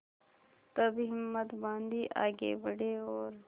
तब हिम्मत बॉँधी आगे बड़े और